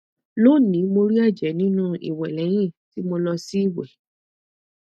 loni mo ri ẹjẹ ninu iwẹ lẹhin ti mo lọ si iwẹ